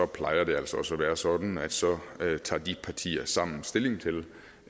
plejer det altså også at være sådan at så tager de partier sammen stilling